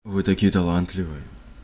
вы такие талантливые